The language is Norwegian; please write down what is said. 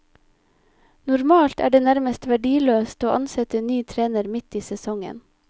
Normalt er det nærmest verdiløst å ansette ny trener midt i sesongen.